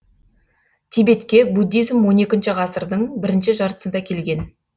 тибетке буддизм он екінші ғасырдың бірінші жартысында келген